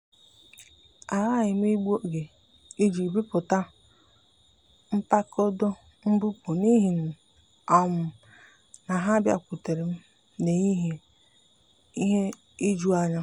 a ghaghị m igbu oge iji bipụta mkpado mbupu n’ihi na ha bịakwutere m n’ehihie ihe ijuanya.